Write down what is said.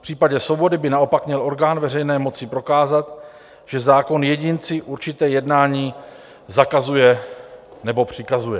V případě svobody by naopak měl orgán veřejné moci prokázat, že zákon jedinci určité jednání zakazuje nebo přikazuje.